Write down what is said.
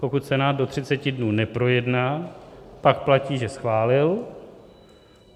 Pokud to Senát do 30 dnů neprojedná, pak platí, že schválil.